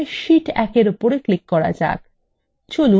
প্রথমে আমরা sheet 1 এর উপর click করা যাক